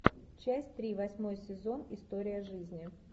часть три восьмой сезон история жизни